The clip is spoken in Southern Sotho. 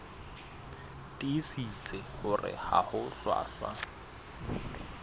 tiisitse hore ha ho hlwahlwa